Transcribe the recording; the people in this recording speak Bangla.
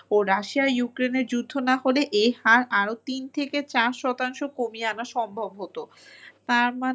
ও Russia Ukraine এর যুদ্ধ না হলে এই হার আরো তিন থেকে চার শতাংশ কমিয়ে আনা সম্ভব হতো। তার মানে